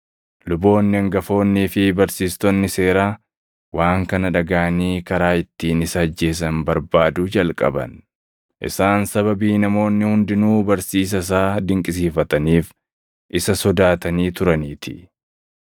Luboonni hangafoonnii fi barsiistonni seeraa waan kana dhagaʼanii karaa ittiin isa ajjeesan barbaaduu jalqaban; isaan sababii namoonni hundinuu barsiisa isaa dinqisiifataniif isa sodaatanii turaniitii.